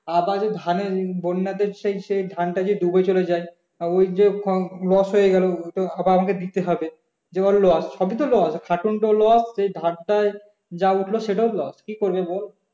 আবার যদি ধানের বন্যা তে সেই সেই ধানটা ডুবে চলে যায় তা ওই যে loss হয়ে গেলো আবার আমাকে দিতে হবে যে ওর loss সবই তো loss খাটনি টাও loss সেই ধানটাই যা উঠলো সেটাও loss কি করবে বল